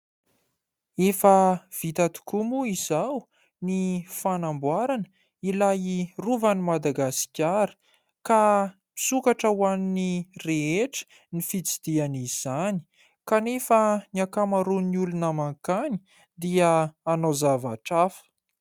Efa vita tokoa moa izao ny fanamboarana ilay rovan'ny Madagasikara ka misokatra ho an'ny rehetra ny fitsidihan' izany ; kanefa ny ankamaroan'ny olona mankany dia hanao zavatra hafa.